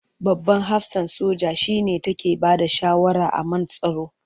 Babban hafsan soja shi ne take bada shawara a man tsaro.